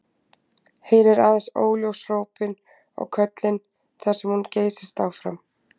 Heyrir aðeins óljós hrópin og köllin þar sem hún geysist áfram.